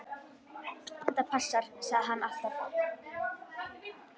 Þetta passar, sagði hann alltaf.